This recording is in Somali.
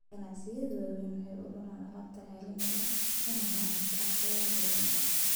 Ganacsiyada waaweyn waxay u raraan alaab caalami ah, una baahan shabakado qaybin adag.